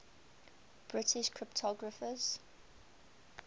british cryptographers